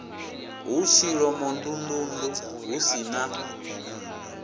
hu tshilomondundundu hu si na